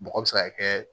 Bɔgɔ bɛ se ka kɛ